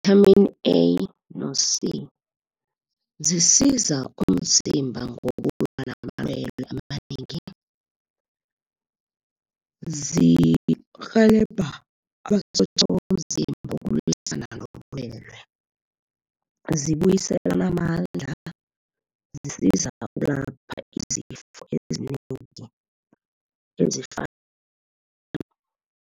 I-Vitamin A no C, zisiza umzimba ngokulwa namalwele amanengi. Zirhelebha amasotja womzimba ukulwisana nobulwele. Zibuyiselana amandla, zisiza ukulapha izifo ezinengi ezifana